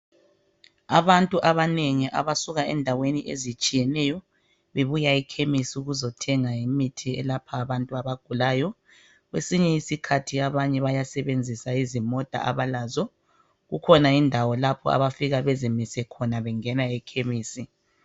Abantu abanengi abasuka endaweni ezitshiyeneyo bebuya ekhemisi ukuzothenga imithi elapha abantu abagulayo. Kwesinye isikhathi abanye bayabe bayasebenzisa izimota abalazo. Kukhona indawo lapho abafika bezimise khona bengena ekhemisi.